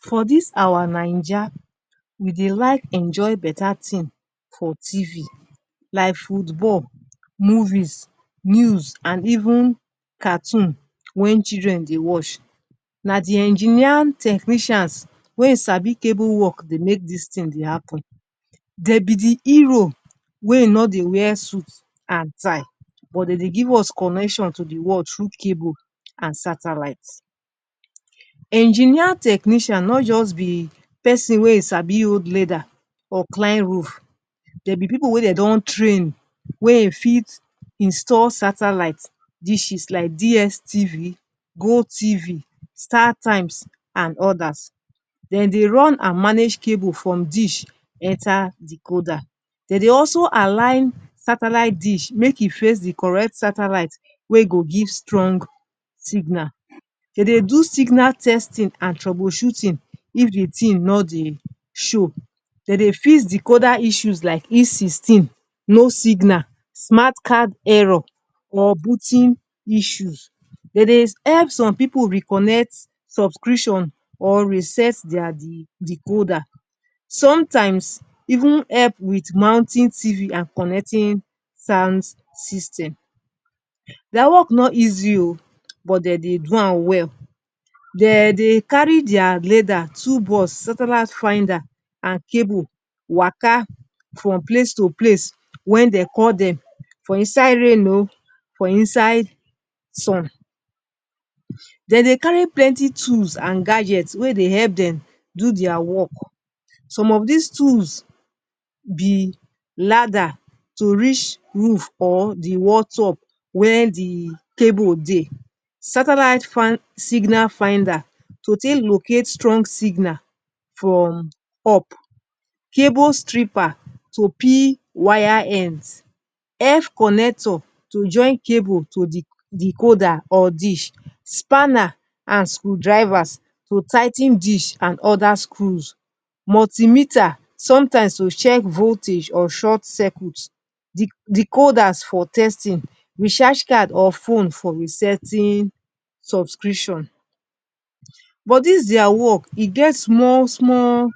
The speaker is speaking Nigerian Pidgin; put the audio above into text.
For dis our Naija, we dey like enjoy betta tin for TV like football, movies, news and even cartoon wey children dey watch. Na di engineering technicians wey sabi cable wok dey make dis tin dey happun. Dem be di hero wey no dey wear suit and tie, but dem dey give us connection to di world through cable and satellite. Engineer technician no just be pesin wey sabi hold ladder or climb roof. Dem be pipu wey dem don train, wey fit install satellite dishes like DSTV, GOTV, StarTimes and odas. Dem dey run and manage cables from dish enta decoder. Dem dey also align satellite dish make e face di correct satellite wey go give strong signal. Dem dey do signal testing and troubleshooting if di tin no dey show. Dem dey fix decoder issues like E16 no signal, smart card error or booting issues. Dem dey help some pipu reconnect subscription or reset dia decoder. Somtimes, even help wit mounting TV and connecting sound system. Dia wok no easy o, but dem dey do am well. Dem dey carry dia ladder, toolbox, satellite finder and cable waka from place to place wen dem call dem, for inside rain o, for inside sun. Dem dey carry plenty tools and gadget wey dey help dem do dia wok. Some of dis tools be ladder to reach roof or di wall top where di cable dey, satellite signal finder to take locate strong signal from up, cable stripper to peel wire end, F-connector to join cable to decoder or dish, spanner and screwdriver to tigh ten dish and oda screws, multimeter somtimes to check voltage or short circuit, decoder for testing, recharge cards or phone for setting and subscription. But dis dia wok e get small small